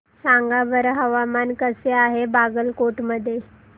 सांगा बरं हवामान कसे आहे बागलकोट मध्ये